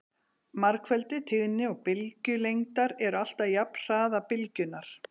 margfeldi tíðni og bylgjulengdar er alltaf jafnt hraða bylgjunnar